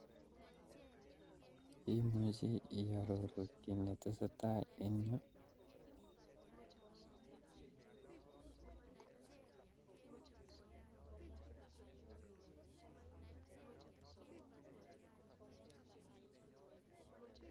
Imuche iororu kiy netesetai en yu?